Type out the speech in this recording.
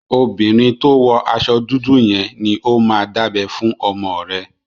Obìnrin tó wọ aṣọ dúdú yẹn ni ó máa dábẹ fún ọmọ rẹ.